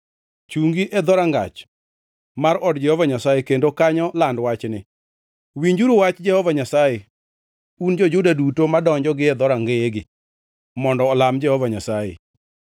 “Chungi e dhorangach mar od Jehova Nyasaye kendo kanyo land wachni: “ ‘Winjuru wach Jehova Nyasaye, un jo-Juda duto madonjo gie dhorangeyegi mondo olam Jehova Nyasaye.